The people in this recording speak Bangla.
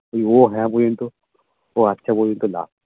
ও হ্যাঁ বলতো ও আচ্ছা বলতো না